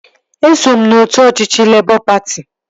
Eso m n'otu ọchịchị Lebọ patị